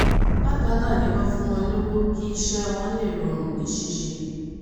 bákan náà ni wọ́n fún wọn lọ́wọ́ kí iṣẹ́ wọn lè rọrùn ní ṣíṣe